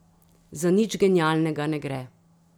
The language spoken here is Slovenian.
Za nič genialnega ne gre.